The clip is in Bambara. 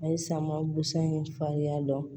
A ye sama busan in farinya dɔn